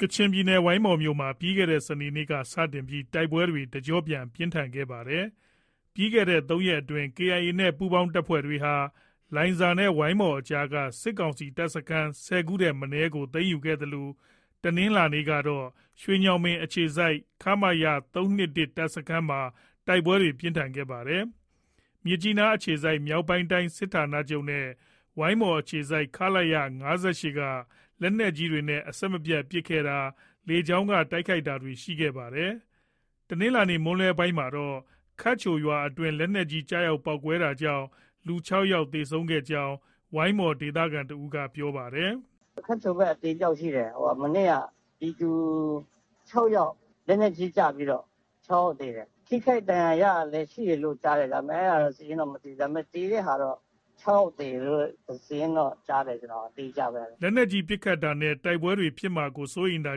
ကချင်ပြည်နယ် ဝိုင်းမော်မြို့မှာ ပြီးခဲ့တဲ့ စနေနေ့က စတင်ပြီး တိုက်ပွဲတွေ တကျော့ပြန် ပြင်းထန်ခဲ့တာပါ။ လွန်ခဲ့တဲ့ ၃ရက်အတွင်း KIA နဲ့ ပူးပေါင်းတပ်တွေဟာ လိုင်ဇာနဲ့ ဝိုင်းမော်အကြားက စစ်ကောင်စီတပ်စခန်း ၁၀ ခုထက်မနည်းကို သိမ်းယူခဲ့သလို တနင်္လာနေ့ကတော့ ရွှေညောင်ပင်အခြေစိုက် ခမရ ၃၂၁တပ်စခန်းမှာ တိုက်ပွဲပြင်းထန်ခဲ့ပါတယ်။ မြစ်ကြီးနားအခြေစိုက် မြောက်ပိုင်းတိုင်းစစ်ဌာနချုပ်နဲ့ ဝိုင်းမော်အခြေစိုက် ခလရ ၅၈ က လက်နက်ကြီးတွေနဲ့ အဆက်မပြတ်ပစ်ခဲ့တာ၊ လေကြောင်းက တိုက်ခိုက်တာတွေ ရှိနေတာပါ။ တနင်္လာနေ့ မွန်းလွဲပိုင်းမှာတော့ ခတ်ချိုရွာအတွင်း လက်နက်ကြီး ကျရောက်ပေါက်ကွဲတာကြောင့် လူ ၆ယောက် သေဆုံးခဲ့ကြောင်း ဝိုင်းမော်ဒေသခံတဦးက ပြောပါတယ်။ “ခတ်ချိုဘက်အသေအပျောက်ရှိတယ်။ ပြည်သူ ၆ယောက် လက်နက်ကြီးကျပြီးတော့ ၆ယောက်သေတယ်။ ထိခိုက်ဒဏ်ရာရတာလည်း ရှိတယ်လို့ ကြားတယ်။ ဒါပေမဲ့ အဲဒါတော့ စာရင်းတော့ မသိဘူး။ သေတဲ့ဟာတော့ ၆ယောက်သေတယ်လို့တော့ စာရင်းတော့ ကြားတယ် အတိအကျပဲ။” လက်နက်ကြီး ပစ်ခတ်တာနဲ့ တိုက်ပွဲတွေ ဖြစ်မှာကို စိုးရိမ်တာ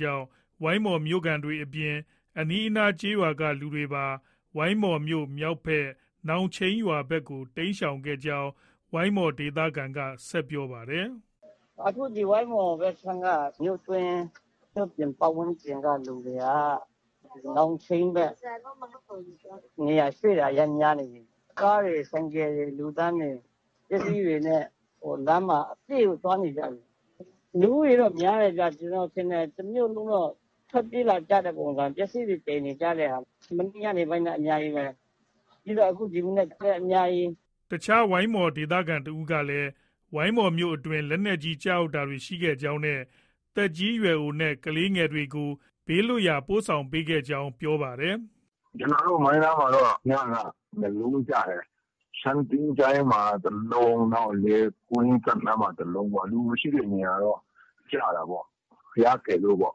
ကြောင့် ဝိုင်းမော်မြို့ခံတွေအပြင် အနီးအနားကျေးရွာက လူတွေပါ ဝိုင်းမော်မြို့ မြောက်ဘက် နောင်ချိန်းရွာဘက်ကို တိမ်းရှောင်နေကြောင်း ဝိုင်းမော်ဒေသခံက ဆက်ပြောပါတယ်။ “အခု ဝိုင်းမော် မြို့တွင်းမြို့ပြင်ကလူတွေက နောင်ချိန်းဘက် နေရာရွှေ့တာတွေ အရမ်းများနေပြီ။ ကားတွေ၊ ဆိုင်ကယ်တွေ၊ပစ္စည်းတွေနဲ့ လူတန်းတွေလမ်းမှာ အပြည့်ကိုသွားနေကြပြီ။ လူဦးရေတော့ များတယ်ဗျ။ ကျနော်ထင်တယ် တမြို့လုံးတော့ ထွက်ပြေးလာကြတဲ့ပုံစံ။ ပစ္စည်းတွေ သယ်နေကြတဲ့ဟာ။ မနေ့ ညနေပိုင်းက အများကြီးပဲ။ ပြီးတော့ ဒီမနက်ခင်းလည်း အများကြီး။ ” အခြားဝိုင်းမော်ဒေသခံတဦးကလည်း ဝိုင်းမော်မြို့အတွင်း လက်နက်ကြီးကျတာတွေ ရှိခဲ့ကြောင်းနဲ့ သက်ကြီးရွယ်အိုနဲ့ ကလေးငယ်တွေကို ဘေးလွတ်ရာကို ပို့ဆောင်နေကြောင်း ပြောပါတယ်။ “ကျနော်တို့ မိုင်းနားမှာတော့ ညက ၂လုံးကျတယ်။ ရှမ်းသင်္ချ ိုင်းမှာ တလုံး၊ နောက် လယ်တောစပ်နားမှာ တလုံး။ လူမရှိတဲ့နေရာတော့ ကျတာပေါ့။ ဘုရားကယ်လို့ ပေါ့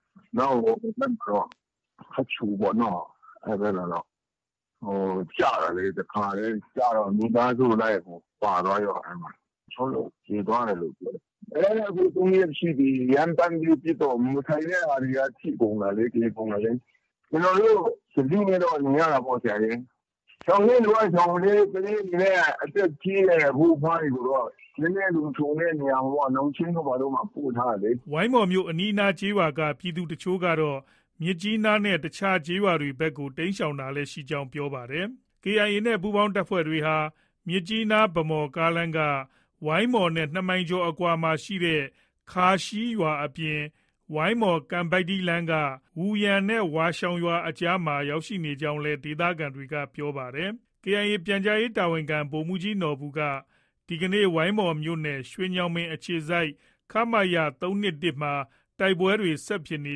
။ နောက် ဟိုဘက်မှာတော့ ခတ်ချိုပေါ့။ အဲဒီဘက်မှာတော့ ကျတာလေ။ ကျတော့ တခါတည်း မိသားစုလိုက်ကို ပါသွားရော အဲဒီမှာ ။ ၆ယောက် သေသွားတယ်လို့ ပြောတယ် အဲဒီမှာ။ အဲ ၃- ၄ရက်ရှိပြီ၊ ရမ်းသမ်းပြီးပစ်တော့ မဆိုင်တဲ့ဟာတွေက ထိကုန်တာလေ။ သေကုန်တာလေ။ ကျနော်တို့ သတိနဲ့တော့ နေရတာပေါ့ဆရာရယ်။ ရှောင်တဲ့သူက ရှောင်ပြီလေ။ ကလေးတွေနဲ့ အသက်ကြီးတဲ့ အဖိုးအဖွားတွေကိုတော့ နည်းနည်းလုံခြုံတဲ့နေရာမှာပေါ့။ နောင်ချိန်းတို့ ဘာတို့မှာ ပို့ထားတယ်လေ။ ” ဝိုင်းမော်နဲ့ အနီးအနားကျေးရွာက ပြည်သူတချို့တွေကတော့ မြစ်ကြီးနားနဲ့ အခြားကျေးရွာတွေဘက်ကို တိမ်းရှောင်တာလည်းရှိကြောင်း ပြောပါတယ်။ KIA နဲ့ ပူးပေါင်းတပ်တွေဟာမြစ်ကြီးနား - ဗန်းမော်လမ်းက ဝိုင်းမော်နဲ့ ၂မိုင်ကျော်အကွာလောက်မှာရှိတဲ့ ခါးရှီရွာအပြင် ဝိုင်းမော်- ကန်ပိုက်တီးလမ်းက ဝူယန်နဲ့ ဝါးရှောင်ရွာအကြားမှာရောက်ရှိနေကြောင်းလည်း ဒေသခံတွေက ပြောပါတယ်။ KIA ပြန်ကြားရေးတာဝန်ခံ ဗိုလ်မှုးကြီးနော်ဘူက ဒီကနေ့ ဝိုင်းမော်မြို့နယ် ရွှေညောင်ပင်အခြေစိုက် ခမရ ၃၂၁မှာ တိုက်ပွဲဆက်ဖြစ်နေ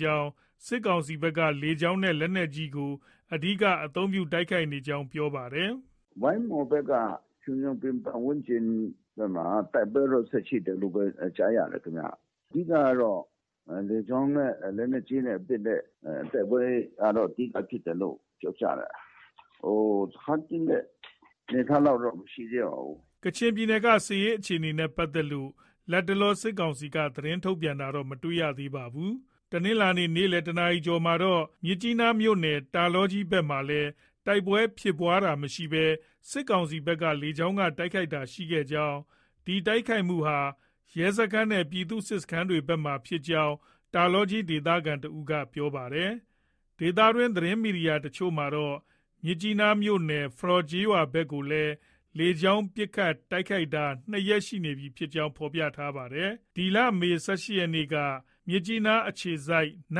ကြောင်း၊ စစ်ကောင်စီဘက်က လေကြောင်းနဲ့လက်နက်ကြီးကို အဓိက အသုံးပြု တိုက်ခိုက်နေကြောင်း ပြောပါတယ်။ “ ဝိုင်းမော်ဘက်က ရွှေညောင်ပင် ပတ်ဝန်းကျင် တိုက်ပွဲတော့ ဆက်ရှိတယ်လို့ပဲ ကြားရတယ်။ အဓိကကတော့ လေကြောင်းနဲ့ လက်နက်ကြီးနဲ့ပစ်တဲ့ တိုက်ပွဲကတော့ အဓိက ဖြစ်တယ်လို့ ပြောကြတယ်။ စခန်းသိမ်းတဲ့အနေအထားလောက်တော့ မရှိသေးပါဘူး။ ” ကချင်ပြည်နယ်က စစ်ရေးအခြေအနေနဲ့ ပတ်သက်လို့ လတ်တလော စစ်ကောင်စီက သတင်းထုတ်ပြန်တာတော့ မတွေ့ရသေးပါဘူး။ တနင်္လာနေ့ နေ့ခင်း ၁နာရီကျော်မှာတော့ မြစ်ကြီးနားမြို့နယ် တာလောကြီးဘက်မှာလည်း တိုက်ပွဲဖြစ်ပွားတာမရှိဘဲ စစ်ကောင်စီဘက်က လေကြောင်းက တိုက်ခိုက်တာရှိခဲ့ကြောင်း၊ ဒီတိုက်ခိုက်မှုဟာ ရဲစခန်းနဲ့ ပြည်သူ့စစ်စခန်းတွေဘက်မှာဖြစ်ကြောင်း တာလောကြီး ဒေသခံတဦးက ပြောပါတယ်။ ဒေသတွင်းသတင်းမီဒီယာတချို့မှာတော့ မြစ်ကြီးနားမြို့နယ် ဖရောကျေးရွာဘက်ကိုလည်း လေကြောင်းပစ်ခတ် တိုက်ခိုက်နေတာ ၂ရက်ရှိပြီဖြစ်ကြောင်း ဖော်ပြပါတယ်။ မေလ ၁၈ရက်နေ့က မြစ်ကြီးနားအခြေစိုက် န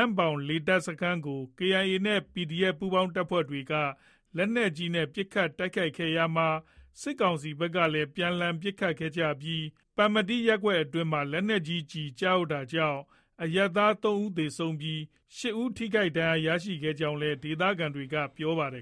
မ့်ပေါင်လေတပ်စခန်းကို KIA နဲ့ PDF ပူးပေါင်းတပ်တွေက လက်နက်ကြီးနဲ့ ပစ်ခတ်တိုက်ခိုက်ခဲ့ရာမှာ စစ်ကောင်စီဘက်ကလည်း ပြန်လှန်ပစ်ခတ်ခဲ့ကြပြီး ပမ္မတီးရပ်ကွက် အတွင်းမှာ လက်နက်ကြီးကျတာကြောင့် အရပ်သား ၃ဦးသေဆုံးပြီး ၈ဦး ထိခိုက်ဒဏ်ရာရခဲ့ကြောင်းလည်း ဒေသခံတွေက ပြောပါတယ်